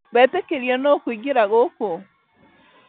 Wetĩkĩrio nũ kũingĩra gũkũ?